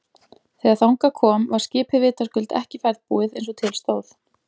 Þegar þangað kom var skipið vitaskuld ekki ferðbúið eins og til stóð.